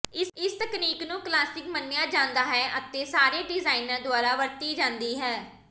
ਇਸ ਤਕਨੀਕ ਨੂੰ ਕਲਾਸਿਕ ਮੰਨਿਆ ਜਾਂਦਾ ਹੈ ਅਤੇ ਸਾਰੇ ਡਿਜ਼ਾਇਨਰ ਦੁਆਰਾ ਵਰਤੀ ਜਾਂਦੀ ਹੈ